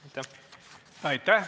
Aitäh!